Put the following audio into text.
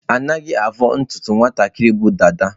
Anaghị avọ ntutu nwatakịrị bu dada.